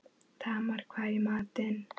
Tamar, hvað er í matinn?